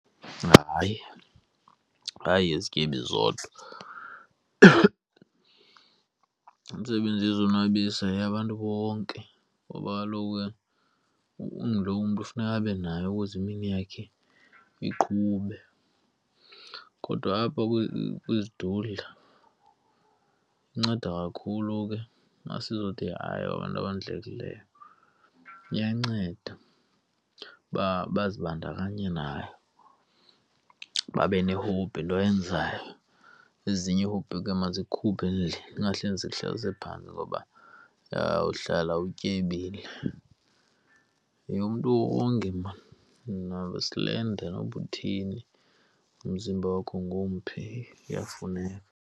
Hayi, ayoyezityebi zodwa. Imsebenzi yozonwabisa yeyabantu bonke ngoba kaloku ke unguloo mntu funeka abe nayo ukuze imini yakhe iqhube. Kodwa apha kwizidudla inceda kakhulu ke asizuthi hay yeyabantu abondlekileyo. Iyanceda uba bazibandakanye nayo benehobhi into oyenzayo. Ezinye iihobhi mazikhuphe endlini zingahleli zikuhlalise phantsi ngoba uyawuhlala utyebile. Yeyomntu wonke maan, noba usilenda noba utheni, umzimba wakho ngumphi kuyafuneka.